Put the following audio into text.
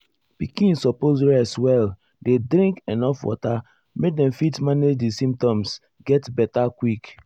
pikin suppose rest well dey drink enuf water make dem fit manage di symptoms get beta quick.